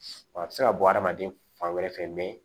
A bɛ se ka bɔ hadamaden fan wɛrɛ fɛ mɛ